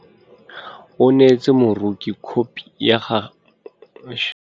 O neetse moroki khopi ya mosese wa gagwe wa lenyalo.